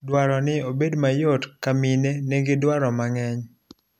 dwaro ni obed mayot ka mine nigi dwaro mang'eny